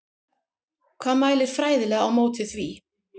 Hvað mælir fræðilega á móti því?